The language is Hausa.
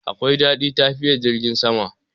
Akwai dadi tafiya a jirgin sama.